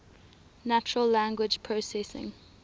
natural language processing